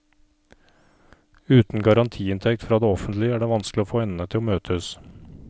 Uten garantiinntekt fra det offentlige er det vanskelig å få endene til å møtes.